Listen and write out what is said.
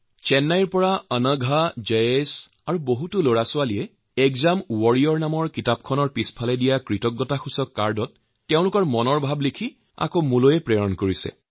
চেন্নাইৰ পৰা অংঘা আৰু জায়েশৰ লগতে কেইবাগৰাকী শিশুৱে এক্সজাম ৱাৰিয়াৰ গ্ৰন্থখনিৰ শেষত যি গ্ৰেটিটিউড কাৰ্ডছ দিয়া আছে তাত তেওঁলোকে নিজৰ মনত যি যি ভাৱনা আহে সেইবোৰত লিখি মোৰ ওচৰলৈ প্ৰেৰণ কৰিছে